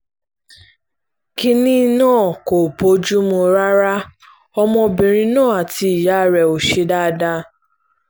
kínní náà kò bójú mu rárá ọmọbìnrin náà àti ìyá rẹ̀ ò ṣe dáadáa